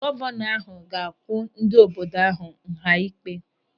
Gọvanọ ahụ ga-akwụ ndị obodo ahụ nha ịkpe.